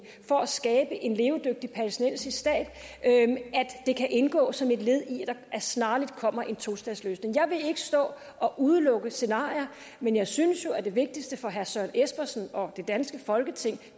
for at skabe en levedygtig palæstinensisk stat at det kan indgå som et led i at der snarligt kommer en tostatsløsning jeg vil ikke stå og udelukke scenarier men jeg synes jo at det vigtigste for herre søren espersen og det danske folketing